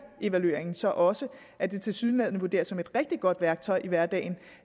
evalueringen viser så også at det tilsyneladende vurderes som et rigtig godt værktøj i hverdagen